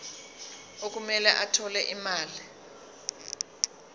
okumele athole imali